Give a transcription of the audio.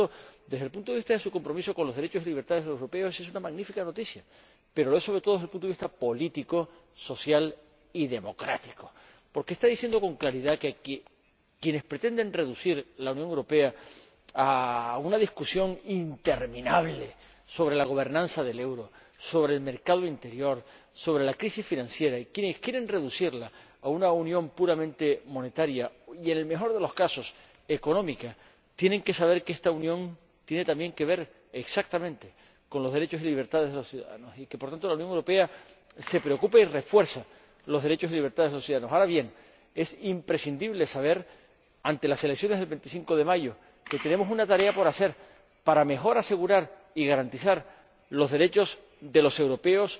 Por consiguiente, desde el punto de vista de su compromiso con los derechos y libertades de los europeos, es una magnífica noticia, pero lo es, sobre todo, desde el punto de vista político, social y democrático, porque el Tribunal está diciendo con claridad que quienes pretenden reducir la Unión Europea a una discusión interminable sobre la gobernanza del euro, sobre el mercado interior, sobre la crisis financiera, quienes quieren reducirla a una unión puramente monetaria y, en el mejor de los casos, económica tienen que saber que esta Unión tiene también que ver con los derechos y libertades de los ciudadanos y que, por tanto, la Unión Europea se preocupa y refuerza los derechos y libertades de los ciudadanos. Ahora bien, es imprescindible saber, ante las elecciones del 25 de mayo, que tenemos una tarea por hacer para mejor asegurar y garantizar los derechos de los europeos,